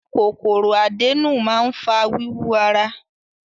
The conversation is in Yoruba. Kòkòrò àdénù máa ń fa wíwú ara.